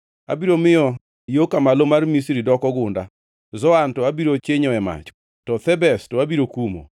Abiro miyo yo ka Malo mar Misri + 30:14 Gi dho jo-Hibrania iluongo kanyo ni Pathros. doko gunda, Zoan to abiro chinyoe mach, to Thebes to abiro kumo.